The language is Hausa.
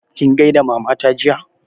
Kin gaida Mama ta jiya?